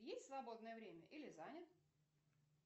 есть свободное время или занят